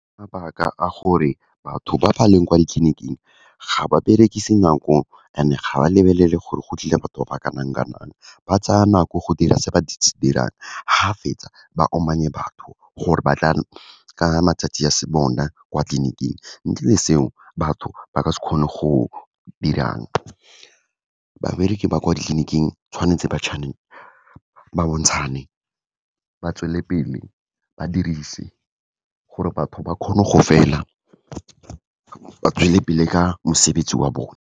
Mabaka a gore, batho ba ba leng kwa ditleniking ga ba berekise nako and-e ga ba lebelele gore go tlile batho ba ba kanang-kanang, ba tsaya nako go dira se ba se dirang, ga fetsa, ba omannye batho, gore ba tla ka matsatsi a se bona kwa tleliniking, ntle le seo, batho ba ka se kgone go dirang. Babereki ba kwa ditleniking, tshwanetse ba , ba bontshane, ba tswelelepele, ba dirise gore batho ba kgone go fela, ba tswelele pele ka mosebetsi wa bone.